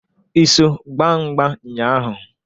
I so gbaa mgba nnya ahụ?